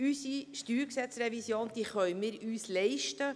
Unsere StG-Revision können wir uns leisten.